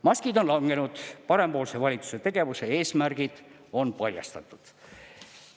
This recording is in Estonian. Maskid on langenud, parempoolse valitsuse tegevuse eesmärgid on paljastatud.